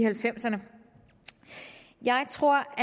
halvfemserne jeg tror